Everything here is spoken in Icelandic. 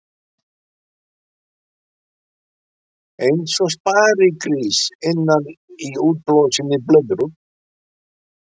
Eins og sparigrís innan í útblásinni blöðru.